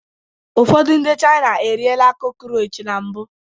Ụfọdụ ndị China eriela crockroach na mbụ